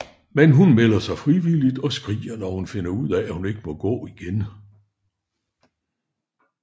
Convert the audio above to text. Men hun melder sig frivilligt og skriger når hun finder ud af at hun ikke må gå igen